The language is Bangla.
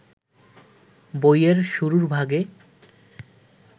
বইয়ের শুরুর ভাগে